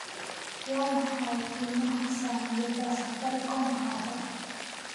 Waa maxay qiimaha saamiyada Safaricom hadda?